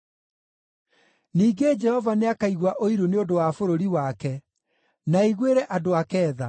Ningĩ Jehova nĩakaigua ũiru nĩ ũndũ wa bũrũri wake, na aiguĩre andũ ake tha.